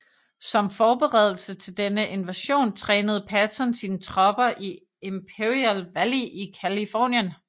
Som forberedelse til denne invasion trænede Patton sine tropper i Imperial Valley i Californien